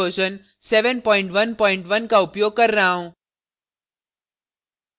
का उपयोग कर रहा हूँ